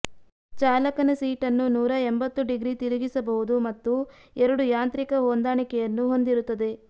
ಚಾಲಕನ ಸೀಟನ್ನು ನೂರ ಎಂಭತ್ತು ಡಿಗ್ರಿ ತಿರುಗಿಸಬಹುದು ಮತ್ತು ಎರಡು ಯಾಂತ್ರಿಕ ಹೊಂದಾಣಿಕೆಯನ್ನು ಹೊಂದಿರುತ್ತದೆ